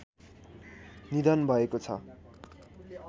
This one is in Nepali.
निधन भएको छ